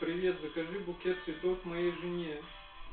моей жене